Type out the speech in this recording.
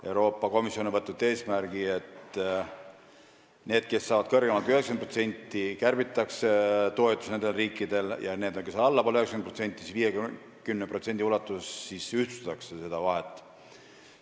Euroopa Komisjon on võtnud eesmärgi, et nendel riikidel, kes saavad kõrgemat kui 90%, kärbitakse toetusi, ja nendel, kes saavad alla 90%, ühtlustatakse seda vahet 50% ulatuses.